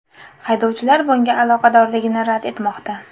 Haydovchilar bunga aloqadorligini rad etmoqda.